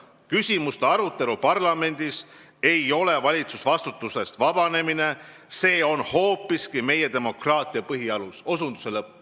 Küsimuste arutelu parlamendis ei ole valitsusvastutusest vabanemine, see on hoopiski meie demokraatia põhialus.